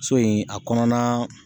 So in a kɔnɔna[